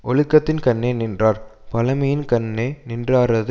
ஒழுக்கத்தின்கண்ணே நின்றார் பழைமையின்கண்ணே நின்றாரது